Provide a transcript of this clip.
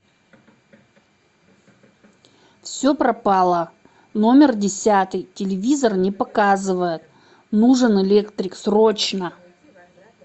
все пропало номер десятый телевизор не показывает нужен электрик срочно